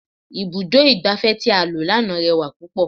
Ibùdó igbàfẹ́ tí a lọ lánàá rẹwà púpọ̀.